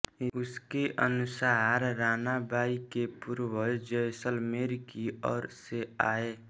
इसके अनुसार रानाबाई के पूर्वज जैसलमेर की और से आये